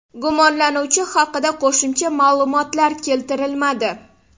Gumonlanuvchi haqida qo‘shimcha ma’lumotlar keltirilmadi.